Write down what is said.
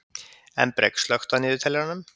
Embrek, slökktu á niðurteljaranum.